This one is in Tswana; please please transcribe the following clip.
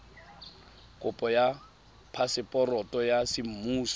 kopo ya phaseporoto ya semmuso